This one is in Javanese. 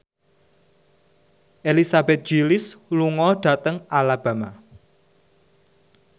Elizabeth Gillies lunga dhateng Alabama